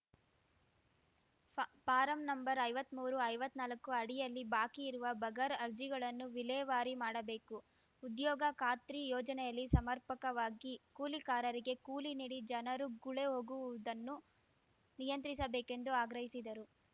ಫಾ form number ಐವತ್ಮೂರು ಐವತ್ನಾಲ್ಕು ಅಡಿಯಲ್ಲಿ ಬಾಕಿ ಇರುವ ಬಗರ್ ಅರ್ಜಿಗಳನ್ನು ವಿಲೇವಾರಿ ಮಾಡಬೇಕು ಉದ್ಯೋಗ ಖಾತ್ರಿ ಯೋಜನೆಯಲ್ಲಿ ಸಮರ್ಪಕವಾಗಿ ಕೂಲಿಕಾರರಿಗೆ ಕೂಲಿ ನೀಡಿ ಜನರು ಗುಳೆ ಹೋಗುವುದನ್ನು ನಿಯಂತ್ರಿಸಬೇಕೆಂದು ಆಗ್ರಹಿಸಿದರು